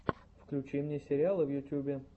включи мне сериалы в ютьюбе